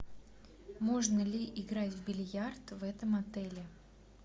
можно ли играть в бильярд в этом отеле